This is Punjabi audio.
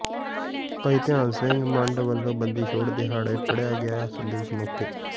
ਭਾਈ ਧਿਆਨ ਸਿੰਘ ਮੰਡ ਵਲੋਂ ਬੰਦੀ ਛੋੜ ਦਿਹਾੜੇ ਪੜਿਆ ਗਿਆ ਸੰਦੇਸ਼ ਮੌਕੇ